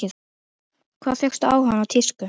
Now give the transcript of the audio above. Hvaðan fékkstu áhugann á tísku?